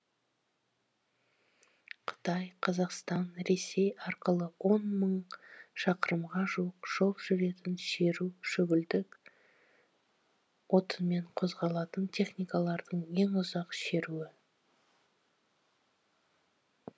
қытай қазақстан ресей арқылы он мың шақырымға жуық жол жүретін шеру көгілдір отынмен қозғалатын техникалардың ең ұзақ шеруі